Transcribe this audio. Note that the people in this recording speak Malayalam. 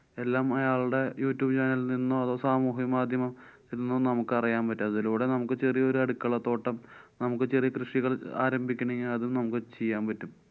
എല്ലാം അയാളടെ youtube ല്‍ നിന്നോ അതോ സമൂഹ്യമാധ്യമങ്ങളില്‍ നിന്നും നമുക്കറിയാന്‍ പറ്റും. അതിലൂടെ നമുക്ക് ചെറിയൊരു അടുക്കളത്തോട്ടം നമുക്ക് ചെറിയ കൃഷികള് ആരംഭിക്കണെങ്കി അതും നമുക്ക് ചെയ്യാന്‍ പറ്റും.